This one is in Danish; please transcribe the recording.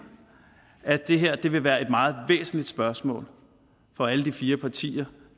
at det her vil være et meget væsentligt spørgsmål for alle de fire partier